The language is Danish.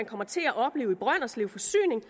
kommer til at opleve i brønderslev forsyning